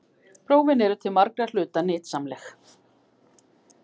Prófin eru til margra hluta nytsamleg.